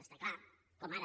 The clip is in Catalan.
està clar com ara